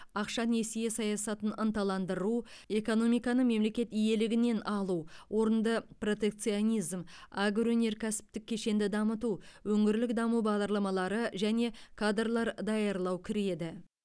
ақша несие саясатын ынталандыру экономиканы мемлекет иелігінен алу орынды протекционизм агроөнеркәсіптік кешенді дамыту өңірлік даму бағдарламалары және кадрлар даярлау кіреді